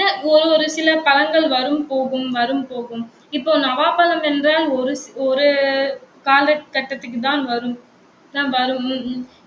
ஒரு சில பழங்கள் வரும் போகும் வரும் போகும் இப்போ, நவாப்பழம் என்ற ஒரு ஒரு காலக்கட்டத்துக்குதான் வரும்